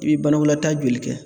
I bɛ banakɔlataa joli kɛ